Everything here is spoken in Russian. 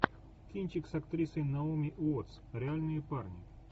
кинчик с актрисой наоми уоттс реальные парни